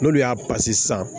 N'olu y'a sisan